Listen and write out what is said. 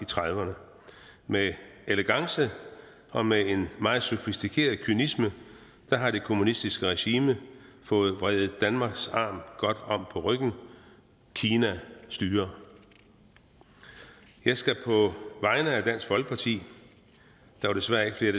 trediverne med elegance og med en meget sofistikeret kynisme har det kommunistiske regime fået vredet danmarks arm godt om på ryggen kina styrer jeg skal på vegne af dansk folkeparti der var desværre ikke flere